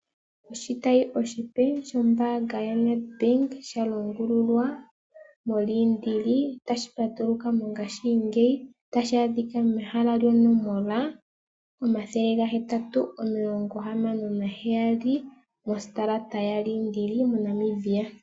Oshitayi oshipe shombaanga yoNedbank sha longululwa moLiindili tashi patuluka mongashingeyi. Tashi adhika mehala lyonomola 876 mostarata yaLindili moNamibia.